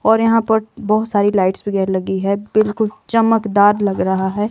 और यहां पर बहोत सारी लाइट्स वगैर लगी है बिल्कुल चमकदार लग रहा है।